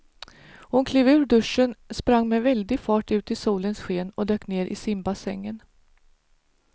Hon klev ur duschen, sprang med väldig fart ut i solens sken och dök ner i simbassängen.